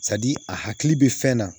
a hakili bɛ fɛn na